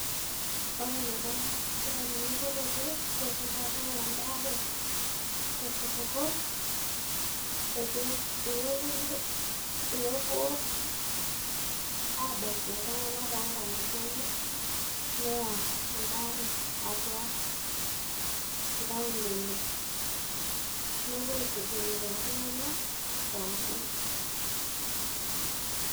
ore enaiko isipitalini kutitik peetum pooki ng'ae embaare tosupuko neeku epuoi aabaiki iltunganak toonkang'itie neya embaare atua inkaulele nepuo aitubulu lelo tunganak pookin.